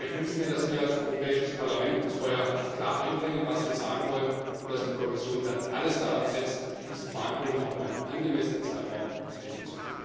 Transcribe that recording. Aber ich wünsche mir, dass wir als Europäisches Parlament vorher klar einbringen, was wir sagen wollen, und dass die Kommission dann alles daran setzt, diese Verhandlungen auch in einem angemessenen Zeitraum zu Ende